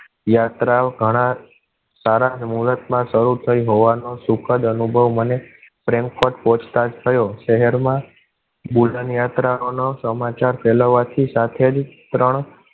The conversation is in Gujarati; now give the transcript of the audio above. યાત્રા ઘણા સારા મુહૂર્તમાં શરૂ થઈ હોવા નો સુખદ અનુભવ મને પ્રેમ કોટ પૂછતાછ થયો. શહેરમાં યાત્રા નો સમાચાર ફેલાવવા થી સાથે જ ત્રણ